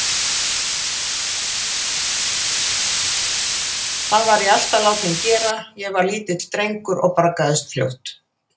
Það var ég alltaf látinn gera þegar ég var lítill drengur og braggaðist fljótt.